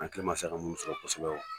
An hakili ma se ka mun sɔrɔ kosɛbɛ